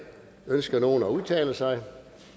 ønsker nogen at udtale sig